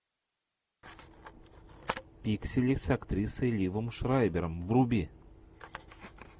пиксели с актрисой ливом шрайбером вруби